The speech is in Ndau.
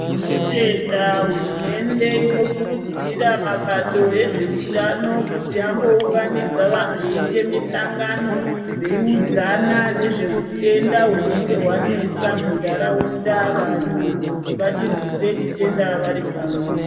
Tinotenda hurumende inokurudzira mabato ezveutano kuti ambouganidza vantu eiita musangano veiudzana ngezve utenda hwunenge hwanesa mundaraunda vantu kuti vachirwise chitenda varipamwe.